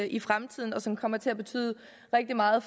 i fremtiden og som kommer til at betyde rigtig meget